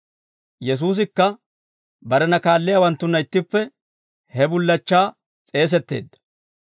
Yesuusikka barena kaalliyaawanttunna ittippe he bullachchaa s'eesetteedda.